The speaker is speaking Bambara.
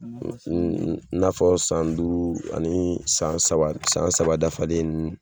N'afɔ san duuru ani san saba dafalen